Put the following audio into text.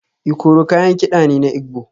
Ikoro kayan kida ne na Igbo